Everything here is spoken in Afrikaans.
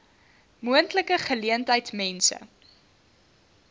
moontlike geleentheid mense